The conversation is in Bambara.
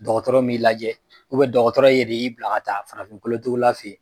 Dɔgɔtɔrɔ m'i lajɛ dɔgɔtɔrɔ yɛrɛ y'i bila ka taa farafinkolotugula fɛ yen